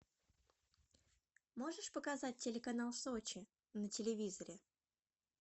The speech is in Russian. можешь показать телеканал сочи на телевизоре